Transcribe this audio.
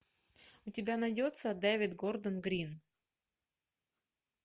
у тебя найдется дэвид гордон грин